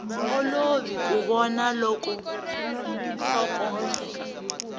olovi ku vona loko nhlokomhaka